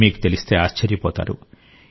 మీకు తెలిస్తే ఆశ్చర్యపోతారు